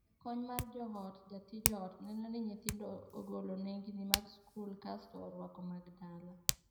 Jakony mar joot (jatij ot) neno ni nyithindo ogolo nengni mag skul kasto orwako mag dala.